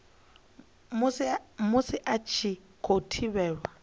musi a tshi khou thivhelwa